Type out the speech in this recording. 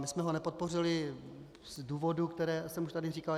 My jsme ho nepodpořili z důvodů, které jsem už tady říkal.